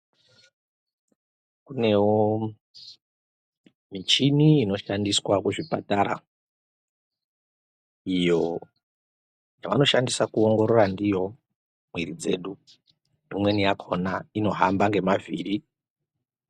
Kunewo michini inoshandiswa kuzvipatara, iyo yavanoshandisa kuongorora ndiyo mwiri dzedu. Imweni yakhona unohamba ngemavhiri.